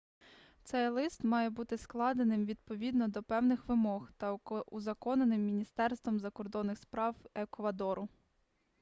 цей лист має бути складеним відповідно до певних вимог та узаконеним міністерством закордонних справ еквадору